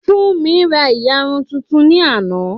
Fúnmi ra ìyarun tuntun ní àná